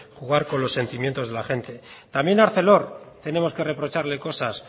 jugar con los sentimientos de la gente también a arcelor tenemos que reprocharle cosas